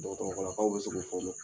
Dɔgɔtɔrɔlakaw bɛ se k'u